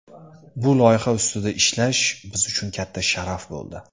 Bu loyiha ustida ishlash biz uchun katta sharaf bo‘ldi.